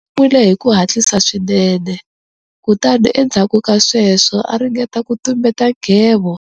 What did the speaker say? U nwile hi ku hatlisa swinene kutani endzhaku ka sweswo a ringeta ku tumbeta nghevo.